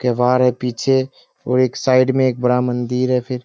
केवार है पीछे और एक साइड में एक बड़ा मंदिर है फिर।